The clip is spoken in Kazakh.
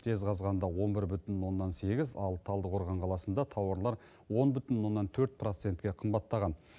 жезқазғанда он бір бүтін оннан сегіз ал талдықорған қаласында тауарлар он бүтін оннан төрт процентке қымбаттаған